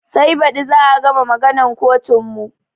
Sai baɗi za a gama maganan kotun mu